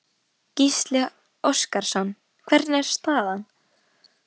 Gísli Óskarsson: Hvernig er staðan?